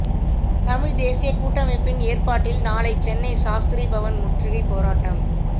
தமிழ்த் தேசியக் கூட்டமைப்பின் ஏற்பாட்டில் நாளை சென்னை சாஸ்திரிபவன் முற்றுகைப் போராட்டம்